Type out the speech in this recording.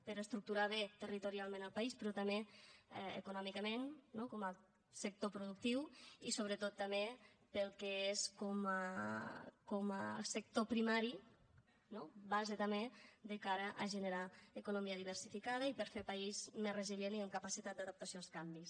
per a estructurar bé territorialment el país però també econòmicament no com a sector productiu i sobretot també pel que és com a sector primari no base també de cara a generar economia diversificada i per fer país més resilient i amb capacitat d’adaptació als canvis